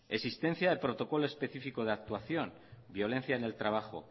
existencia de protocolo específico de actuación violencia en el trabajo